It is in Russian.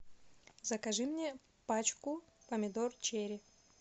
закажи мне пачку помидор черри